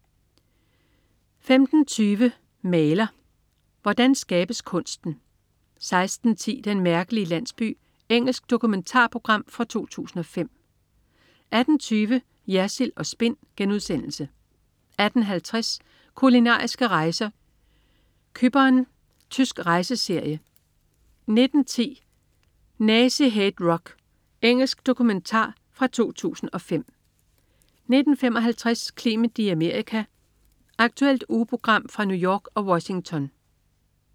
15.20 Maler. Hvordan skabes kunsten? 16.10 Den mærkelige landsby. Engelsk dokumentarprogram fra 2005 18.20 Jersild & Spin* 18.50 Kulinariske rejser: Cypern. Tysk rejseserie 19.10 Nazi Hate Rock. Engelsk dokumentar fra 2005 19.55 Clement i Amerika. Aktuelt ugemagasin fra New York og Washington